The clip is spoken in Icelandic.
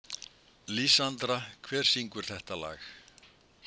Lísandra, hver syngur þetta lag?